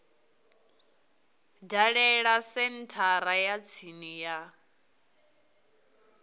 dalele senthara ya tsini ya